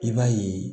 I b'a ye